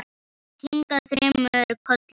Þau kinka þremur kollum.